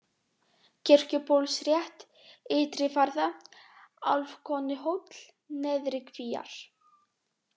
Kirkjubólsrétt, Ytrivarða, Álfkonuhóll, Neðri-Kvíar